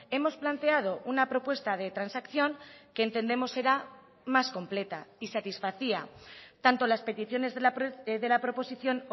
hemos planteado una propuesta de transacción que entendemos será más completa y satisfacía tanto las peticiones de la proposición